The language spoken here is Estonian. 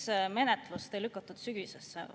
Miks menetlust ei lükatud sügisesse?